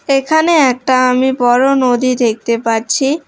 এখানে একটা আমি বড় নদী দেখতে পাচ্ছি।